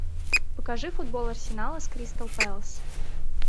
покажи футбол арсенала с кристал пэлас